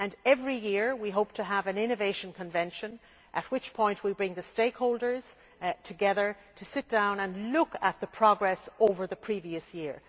Every year we hope to have an Innovation Convention' at which we bring the stakeholders together to sit down and look at progress over the previous year.